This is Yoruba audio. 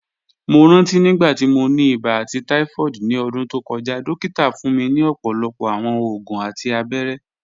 Mo ranti nigbati mo ni iba ati typhoid ni ọdun to kọja, dokita fun mi ọpọlọpọ awọn oògùn ati abẹrẹ